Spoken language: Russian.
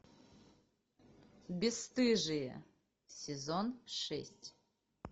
бесстыжие сезон шесть